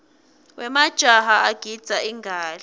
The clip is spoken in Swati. wemajaha agidza ingadla